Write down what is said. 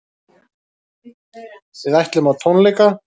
Við ætlum á tónleika.